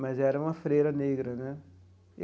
mas era uma freira negra né.